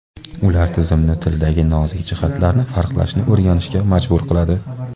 Ular tizimni tildagi nozik jihatlarni farqlashni o‘rganishga majbur qiladi.